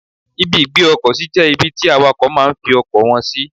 Ibi ìgbé ọkọ̀ sí jẹ́ ibi tí àwàkọ̀ máa ń fi ọkọ̀ wọn sì.